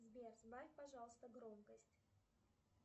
сбер сбавь пожалуйста громкость